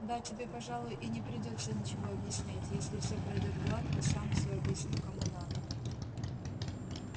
да тебе пожалуй и не придётся ничего объяснять если все пройдёт гладко сам всё объясню кому надо